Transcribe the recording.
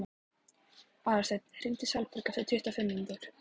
Aðalsteinn, hringdu í Salberg eftir tuttugu og fimm mínútur.